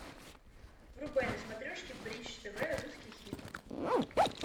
врубай на смотрешке бридж тв русский хит